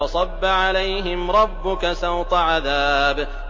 فَصَبَّ عَلَيْهِمْ رَبُّكَ سَوْطَ عَذَابٍ